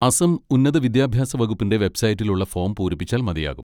അസം ഉന്നത വിദ്യാഭ്യാസ വകുപ്പിന്റെ വെബ്സൈറ്റിൽ ഉള്ള ഫോം പൂരിപ്പിച്ചാൽ മതിയാകും.